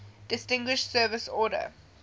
distinguished service order